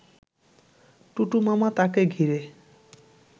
টুটুমামা তাঁকে ঘিরে